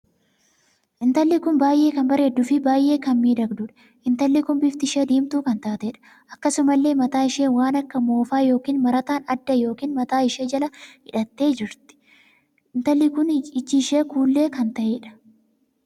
Intalli kun baay'ee kan bareeddu fi baay'ee kan miidhagduudha. Intalli Kun bifti ishee diimtuu kan taateedha. Akkasumallee mataa ishee waan akka moofaa ykn marataan adda ykn mataa ishee jala hidhattee jirti. Intalli kun ijii ishee kuullee kan taheedha.